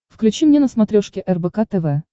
включи мне на смотрешке рбк тв